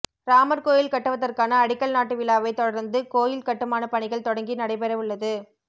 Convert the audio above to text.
ராமர் கோயில் கட்டுவதற்கான அடிக்கல் நாட்டு விழாவைத் தொடர்ந்து கோயில் கட்டுமானப் பணிகள் தொடங்கி நடைபெற உள்ளது